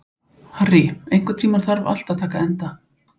Harry, einhvern tímann þarf allt að taka enda.